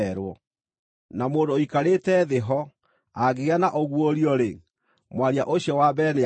Na mũndũ ũikarĩte thĩ ho angĩgĩa na ũguũrio-rĩ, mwaria ũcio wa mbere nĩakire.